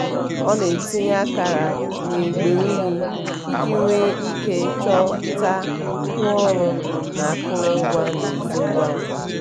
ọ na-etinye akara n'igbe unyi iji nwee ike chọta ngwaọrụ na akụrụngwa n'ezi ngwa ngwa.